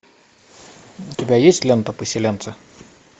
у тебя есть лента поселенцы